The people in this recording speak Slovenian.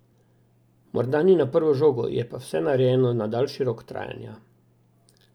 Morda ni na prvo žogo, je pa vse narejeno na daljši rok trajanja.